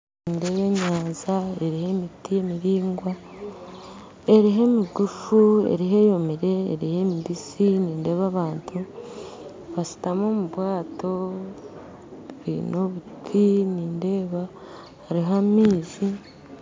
Nindeeba enyanja, reero emiti miraingwa, hariho emigufu, hariho eyomire, hariho emibisi, nindeeba abantu bashuutami omu bwato baine obuti nindeeba hariho amaizi